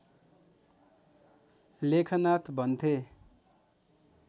लेखनाथ भन्थे